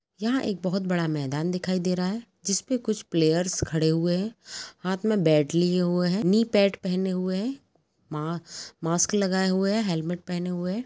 यहाँ एक बहोत बड़ा मैदान दिखाई दे रहा है जिसपे कुछ प्लेयर्स खड़े हुए है हाथ में बैट लिए हुए है नी पैड पहने हुए है मा मास्क लगाए हुए है हेलमेट पहने हुए है।